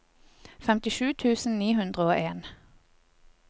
femtisju tusen ni hundre og en